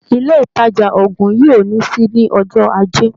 Ilé ìtàjà oògùn yìí ò ní ṣí ní ọjọ́ Ajé.